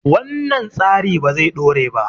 wannan tsari ba zai dore ba